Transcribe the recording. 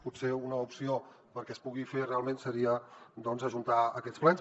potser una opció perquè es pugui fer realment seria doncs ajuntar aquests plens